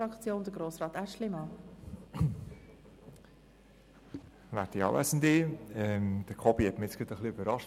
Kobi Schwarz hat mich mit seinem Votum für die EDU gerade etwas überrascht.